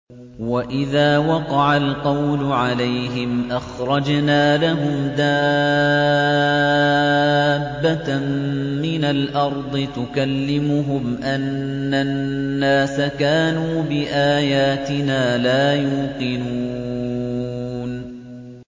۞ وَإِذَا وَقَعَ الْقَوْلُ عَلَيْهِمْ أَخْرَجْنَا لَهُمْ دَابَّةً مِّنَ الْأَرْضِ تُكَلِّمُهُمْ أَنَّ النَّاسَ كَانُوا بِآيَاتِنَا لَا يُوقِنُونَ